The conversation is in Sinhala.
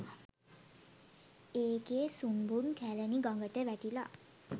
ඒකෙ සුන්බුන් කැලණි ගඟට වැටිලා .